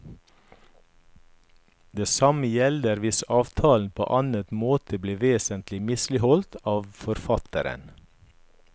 Det samme gjelder hvis avtalen på annen måte blir vesentlig misligholdt av forfatteren.